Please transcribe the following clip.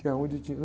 Que é onde tinha...